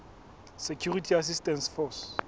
security assistance force